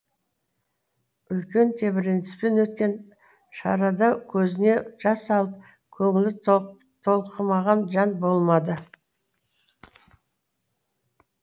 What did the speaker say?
үлкен тебіреніспен өткен шарада көзіне жас алып көңілі толқымаған жан болмады